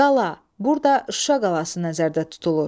Qala, burda Şuşa qalası nəzərdə tutulur.